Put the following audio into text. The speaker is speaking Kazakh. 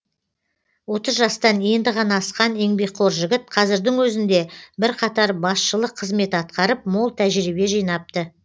отыз жастан енді ғана асқан еңбекқор жігіт қазірдің өзінде бірқатар басшылық қызмет атқарып мол тәжірибе жинапты